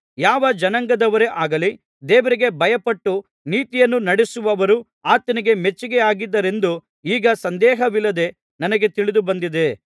ಯಾವ ಜನಾಂಗದವರೇ ಆಗಲಿ ದೇವರಿಗೆ ಭಯಪಟ್ಟು ನೀತಿಯನ್ನು ನಡಿಸುವವರು ಆತನಿಗೆ ಮೆಚ್ಚಿಗೆಯಾಗಿದ್ದಾರೆಂದು ಈಗ ಸಂದೇಹವಿಲ್ಲದೆ ನನಗೆ ತಿಳಿದುಬಂದಿದೆ